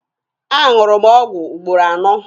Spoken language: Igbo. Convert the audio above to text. A ṅụrụ m ọgwụ ugboro anọ.